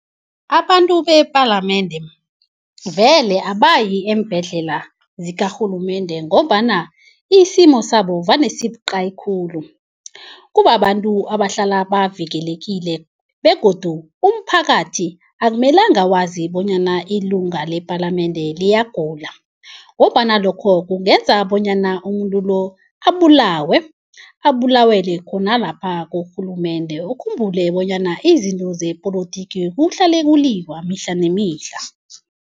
Abantu bepalamende vele abayi eembhedlela zikarhulumende ngombana isimo sabo vane sibuqayi khulu. Kubabantu abahlala bavikelekile begodu umphakathi akumelanga wazi bonyana ilunga lepalamende liyagula ngombana lokho kungenza bonyana umuntu lo abulawe, abulawele khona lapha kurhulumende. Ukhumbule bonyana izinto zepolotiki kuhlale kuliwa mihla nemihla.